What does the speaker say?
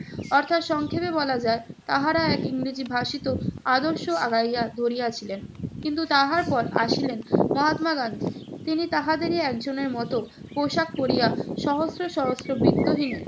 অর্থাৎ সংক্ষেপে বলা যায়, তাহারা এক ইংরেজি ভাসিত আদর্শ আগাইয়া ধরিয়াছিলেন। কিন্তু তাহার পর আসিলেন মহাত্মা গান্ধী। তিনি তাহাদেরই একজনের মত পোশাক পরিয়া সহস্র সহস্র বিত্তহীনের